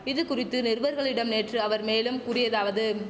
இது குறித்து நிருவர்களிடம் நேற்று அவர் மேலும் கூறியதாவது